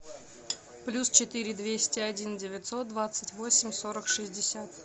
плюс четыре двести один девятьсот двадцать восемь сорок шестьдесят